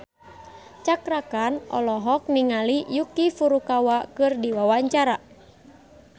Cakra Khan olohok ningali Yuki Furukawa keur diwawancara